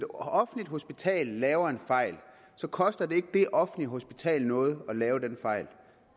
offentligt hospital laver en fejl koster det ikke det offentlige hospital noget at lave den fejl